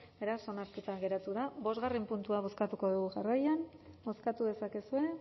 beraz onartuta geratu da bosgarren puntua bozkatuko dugu jarraian bozkatu dezakezue